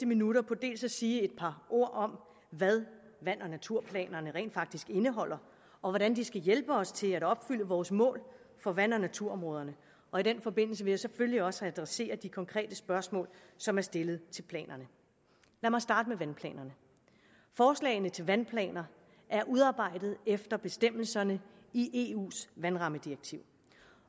minutter på at sige et par ord om hvad vand og naturplanerne rent faktisk indeholder og hvordan de skal hjælpe os til at opfylde vores mål for vand og naturområderne og i den forbindelse vil jeg selvfølgelig også adressere de konkrete spørgsmål som er stillet til planerne lad mig starte med vandplanerne forslagene til vandplaner er udarbejdet efter bestemmelserne i eus vandrammedirektiv